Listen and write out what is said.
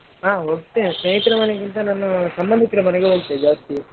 ಹಾ ಹೋಗ್ತೇವೆ ಸ್ನೇಹಿತರ ಮನೇಗಿಂತ ನಾನು ಸಂಬಂದಿಕರ ಮನೆಗೆ ಹೋಗ್ತೇನೆ ಜಾಸ್ತಿ.